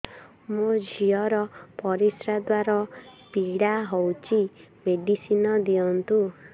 ମୋ ଝିଅ ର ପରିସ୍ରା ଦ୍ଵାର ପୀଡା ହଉଚି ମେଡିସିନ ଦିଅନ୍ତୁ